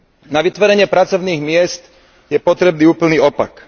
Na vytvorenie pracovných miest je potrebný úplný opak.